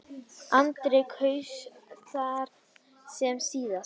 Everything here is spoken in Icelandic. Andri: Kaustu það sama síðast?